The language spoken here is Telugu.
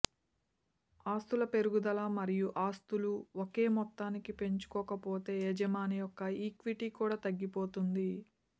ఆస్తుల పెరుగుదల మరియు ఆస్తులు ఒకే మొత్తాన్ని పెంచుకోకపోతే యజమాని యొక్క ఈక్విటీ కూడా తగ్గిపోతుంది